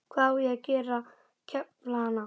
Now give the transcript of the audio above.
Hvað á ég að gera, kefla hana?